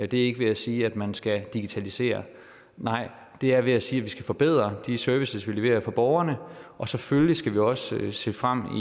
det er ikke ved at sige at man skal digitalisere nej det er ved at sige at vi skal forbedre de services vi leverer til borgerne og selvfølgelig skal vi også se frem